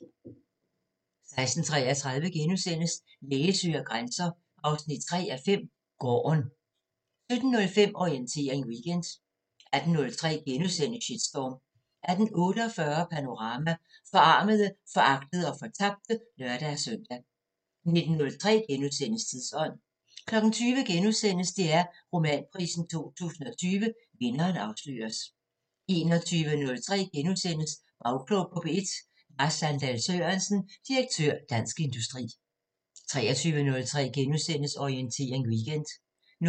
16:33: Læge søger grænser 3:5 – Gården * 17:05: Orientering Weekend 18:03: Shitstorm * 18:48: Panorama: Forarmede, foragtede og fortabte (lør-søn) 19:03: Tidsånd * 20:03: DR Romanprisen 2020 – vinderen afsløres * 21:03: Bagklog på P1: Lars Sandahl Sørensen, direktør Dansk Industri * 23:03: Orientering Weekend * 00:05: